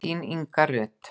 Þín, Inga Rut.